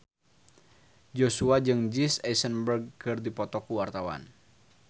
Joshua jeung Jesse Eisenberg keur dipoto ku wartawan